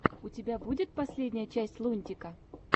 у тебя будет последняя часть лунтика